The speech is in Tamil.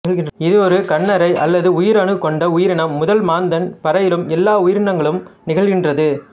இது ஒரு கண்ணறை அல்லது உயிரணு கொண்ட உயிரினம் முதல் மாந்தன் வரையிலும் எல்லா உயிரினங்களிலும் நிகழ்கின்றது